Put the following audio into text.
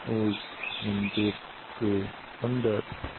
एक मंदिर के अंदर --